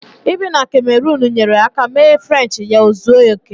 Ibi na kamerunu nyeere aka mee Frenchi ya ozuo oke